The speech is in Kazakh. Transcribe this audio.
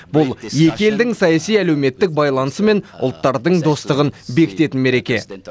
бұл екі елдің саяси әлеуметтік байланысы мен ұлттардың достығын бекітетін мереке